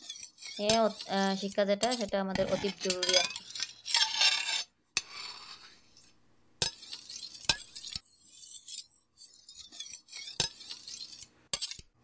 হ্যাঁ শিক্ষা যেটা ওটা আমাদের অতি জরুরি আর কি